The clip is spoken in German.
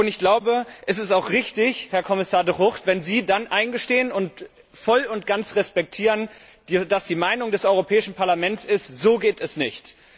Ich glaube, es ist auch richtig, Herr Kommissar De Gucht, wenn Sie dann das eingestehen und voll und ganz respektieren, dass die Meinung des Europäischen Parlaments ist So geht es nicht!